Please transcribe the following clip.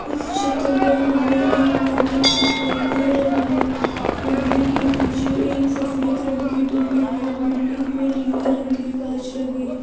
इस चित्र में हमें एक मंदिर दिखाई दे रहा है मंदिर के पीछे एक सफेद रंग की है में नीले रंग के कांच लगे हैं।